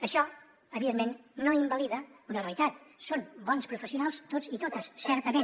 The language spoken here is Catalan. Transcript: això evidentment no invalida una realitat són bons professionals tots i totes certament